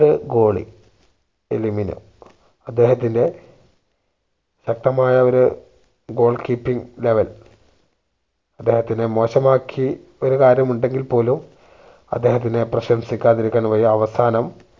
യുടെ goalie എലിമിനോ അദ്ദേഹത്തിന്റെ ശക്തമായ ഒരു goal keeping level അദ്ദേഹത്തിനെ മോശമാക്കി ഒരു കാര്യമുണ്ടെങ്കിൽ പോലും അദ്ദേഹത്തിനെ പ്രശംസിക്കാതിരിക്കാൻ വയ്യ അവസാനം